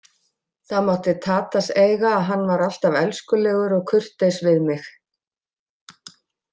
Það mátti Tadas eiga að hann var alltaf elskulegur og kurteis við mig.